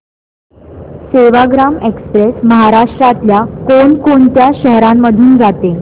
Sevagram express महाराष्ट्रातल्या कोण कोणत्या शहरांमधून जाते